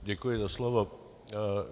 Děkuji za slovo.